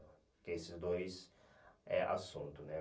Porque esses dois é assunto, né?